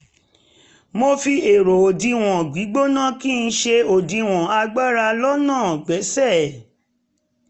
mo fi ẹ̀rọ òdiwọ̀n gbígbóná kí n ṣe òdiwọ̀n agbára lọ́nà gbéṣẹ́